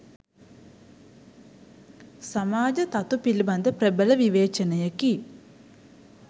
සමාජ තතු පිළිබඳ ප්‍රබල විවේචනයකි.